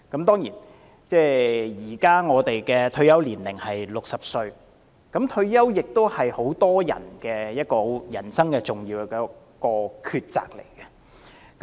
當然，現時我們的退休年齡是60歲，而對很多人來說，退休是人生的一項重要抉擇。